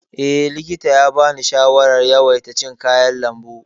Eh, likita ya bani shawarar yawaita cin kayan lambu.